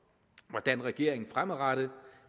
hvordan regeringen fremadrettet